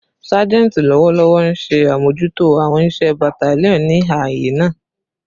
Sajenti lọwọlọwọ nṣe amojuto awọn iṣẹ battalion ni aaye naa